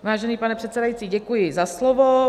Vážený pane předsedající, děkuji za slovo.